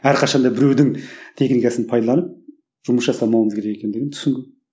әрқашанда біреудің техникасын пайдаланып жұмыс жасамауымыз керек екендігін түсінген